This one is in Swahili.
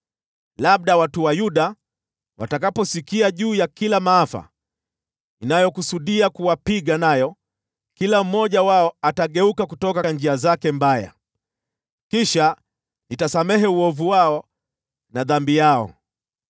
Labda watu wa Yuda watakaposikia juu ya kila maafa ninayokusudia kuwapiga nayo, kila mmoja wao atageuka kutoka njia zake mbaya, kisha nitasamehe uovu wao na dhambi yao.”